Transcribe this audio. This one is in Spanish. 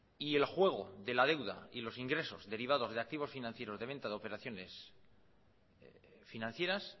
y el juego de la deuda y los ingresos derivados de activos financieros de venta de operaciones financieras